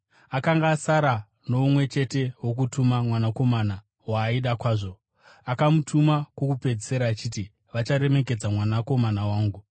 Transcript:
“Akanga asara nomumwe chete wokutuma, mwanakomana, waaida kwazvo. Akamutuma kwokupedzisira achiti, ‘Vacharemekedza mwanakomana wangu.’